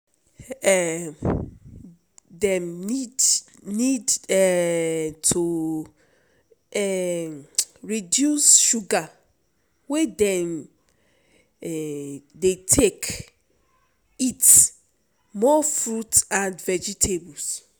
um dem need need um to reduce sugar wey dem um dey take eat more fruits and vegetables.